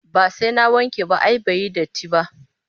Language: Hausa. Ba sai na wanke ba ai bai yi datti ba